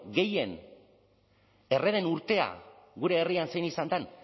gehien erre den urtea gure herrian zein izan den